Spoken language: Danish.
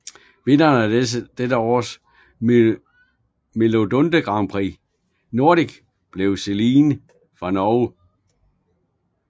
Vinderen af dette års MGP Nordic blev Celine fra Norge